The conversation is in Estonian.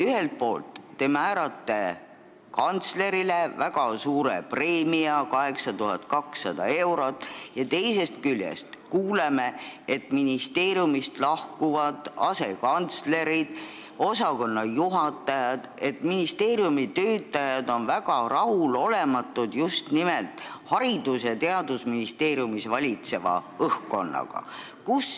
Ühelt poolt te määrate kantslerile väga suure preemia – 8200 eurot – ja teisest küljest me kuuleme, et ministeeriumist lahkuvad asekantslerid ja osakonnajuhatajad ning ministeeriumi töötajad on just nimelt Haridus- ja Teadusministeeriumis valitseva õhkkonna tõttu väga rahulolematud.